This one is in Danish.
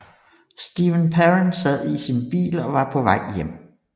Steven Parent sad i sin bil og var på vej hjem